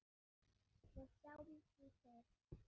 Við sjáum því til.